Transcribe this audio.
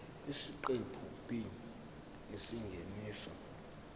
isiqephu b isingeniso